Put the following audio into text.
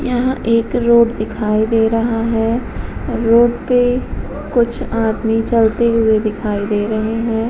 यहाँ एक रोड दिखाई दे रहा है। रोड पे कुछ आदमी चलती हुई दिखाई दे रहे हैं।